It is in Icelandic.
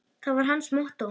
var hans mottó.